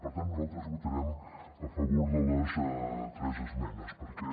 per tant nosaltres votarem a favor de les tres esmenes perquè